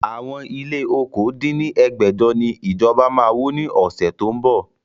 Àwọn ilé okòó dín ní ẹgbẹ́jọ ni ìjọba máa wó ni ọ̀sẹ̀ tó ń bọ̀